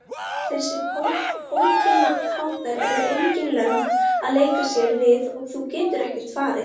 Þessir pótintátar eru engin lömb að leika sér við og þú getur ekkert farið.